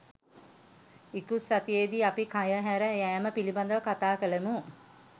ඉකුත් සතියේදී අපි කය හැර යාම පිළිබඳව කතා කළෙමු